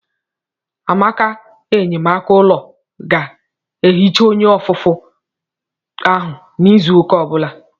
Amaka enyemaka ụlọ ga-ehicha onye ofufe to ahụ n'izu ụka ọ bụla.